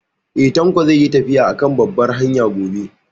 Eh, Tanko zai yi tafiya a kan babbar hanya gobe